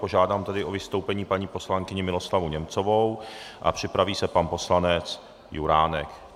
Požádám tedy o vystoupení paní poslankyni Miroslavu Němcovou a připraví se pan poslanec Juránek.